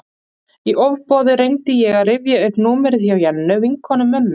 Í ofboði reyndi ég að rifja upp númerið hjá Jennu, vinkonu mömmu.